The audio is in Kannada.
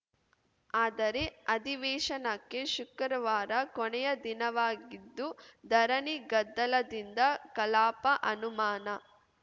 ಆದರೆ ಅಧಿವೇಶನಕ್ಕೆ ಶುಕ್ರವಾರ ಕೊನೆಯ ದಿನವಾಗಿದ್ದು ಧರಣಿಗದ್ದಲದಿಂದ ಕಲಾಪ ಅನುಮಾನ